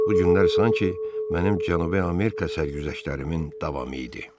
Bu günlər sanki mənim Cənubi Amerika sərgüzəştlərimin davamı idi.